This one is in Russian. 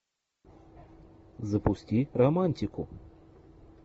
запусти романтику